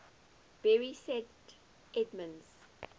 bury st edmunds